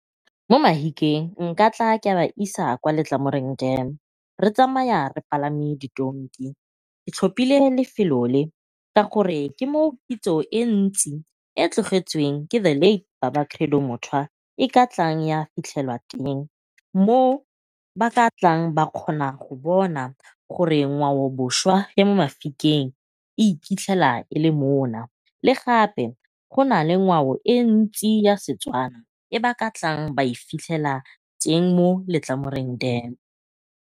Mo Mahikeng nka tla ke a ba isa kwa Letlamoreng dam re tsamaya re palame ditonki, ke tlhopile lefelo le, ka gore ke mo kitso e ntsi e tlogetsweng ke the late baba Credo Mutwa e ka tlang a fitlhelwa teng. Mo ba ka tlang ba kgona go bona gore ngwao boswa e mo Mafikeng e iphitlhela e le mona, le gape go nale ngwao e le ntsi ya Setswana e ba ka tlang ba e fitlhela teng mo Letlamoreng dam.